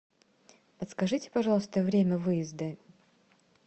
подскажите пожалуйста время выезда